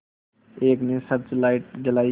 एक ने search light जलाई